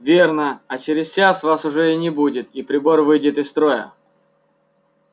верно а через час вас уже и не будет и прибор выйдет из строя